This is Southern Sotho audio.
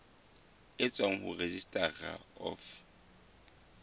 e tswang ho registrar of